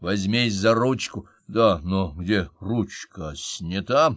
возьмись за ручку да но где ручка снята